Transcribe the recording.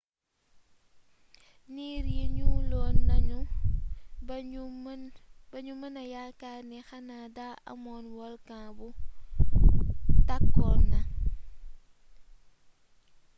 niir yi ñuuloon nañu ba ñu mëna yaakaar ni xanaa daa amoon volkan bu tàkkoon na